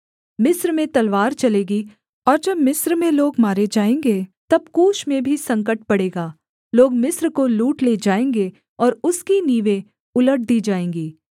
मिस्र में तलवार चलेगी और जब मिस्र में लोग मारे जाएँगे तब कूश में भी संकट पड़ेगा लोग मिस्र को लूट ले जाएँगे और उसकी नींवें उलट दी जाएँगी